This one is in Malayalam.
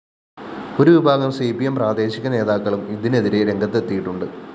ഒരുവിഭാഗം സി പി എം പ്രാദേശിക നേതാക്കളും ഇതിനെതിരെ രംഗത്തെത്തിയിട്ടുണ്ട്